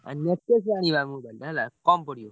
ରୁ ଆଣିବା mobile ହେଲା କମ୍ ପଡିବ।